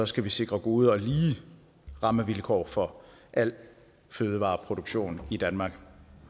skal vi sikre gode og lige rammevilkår for al fødevareproduktion i danmark